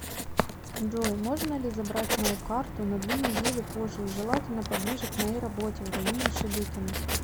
джой можно ли забрать мою карту на две недели позже и желательно поближе к моей работе в районе шебекино